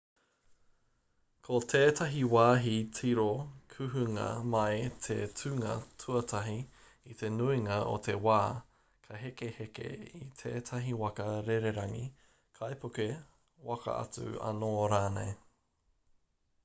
ko tētahi wāhi tiro kuhunga mai te tūnga tuatahi i te nuinga o te wā ka hekeheke i tētahi waka rererangi kaipuke waka atu anō rānei